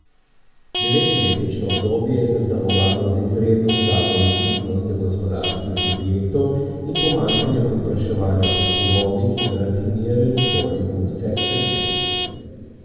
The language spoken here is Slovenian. Devetmesečno obdobje je zaznamovano z izredno slabo likvidnostjo gospodarskih subjektov in pomanjkanjem povpraševanja po surovih in rafiniranih oljih v vseh segmentih.